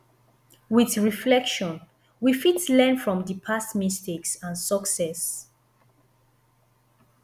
with reflection we fit learn from di past mistakes and success